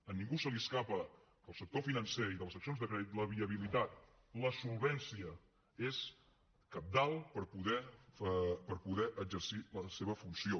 a ningú se li escapa que del sector financer i de les seccions de crèdit la viabilitat la solvència és cabdal per poder exercir la seva funció